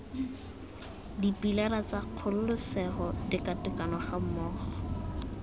dipilara tsa kgololesego tekatekano gammogo